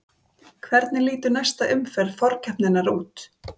Hvernig lítur næsta umferð forkeppninnar út?